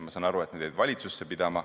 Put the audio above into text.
Ma saan aru, et need jäid pidama valitsusse.